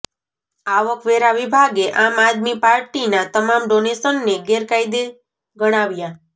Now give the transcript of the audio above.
આવકવેરા વિભાગે આમ આદમી પાર્ટીના તમામ ડોનેશનને ગેરકાયદે ગણાવ્યા